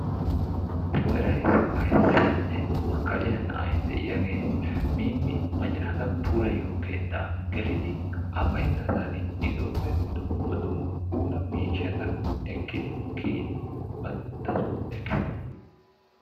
Nu heeran issi waayissiyaanne makkaliya na"ay de"iyaagee miimmi macca naata puulayiyo keettaa gelidi A baynnasaani isooppee dumma dumma puula miishshata ekkidi kiyidi bantta soo efiis.